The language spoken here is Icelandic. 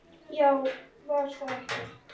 Já, var það ekki?